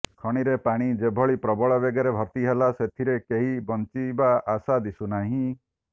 ଖଣିରେ ପାଣି ଯେଭଳି ପ୍ରବଳ ବେଗରେ ଭର୍ତ୍ତି ହେଲା ସେଥିରେ କେହି ବଞ୍ଚିବା ଆଶା ଦିଶୁନାହିଁ